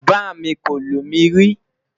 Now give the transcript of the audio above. bá mí kò lumi ri